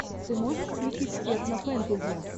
ты можешь включить техно фэнтези